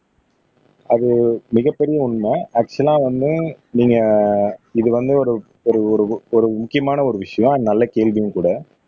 அது மிகப்பெரிய உண்மை ஆக்சுவலா வந்து நீங்க இது வந்து ஒரு ஒரு ஒரு ஒரு முக்கியமான ஒரு விஷயம் நல்ல கேள்வியும் கூட